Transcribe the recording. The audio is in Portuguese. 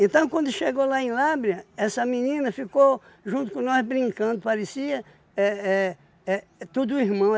Então, quando chegou lá em Lábrea, essa menina ficou junto com nós brincando, parecia éh éh éh tudo irmão.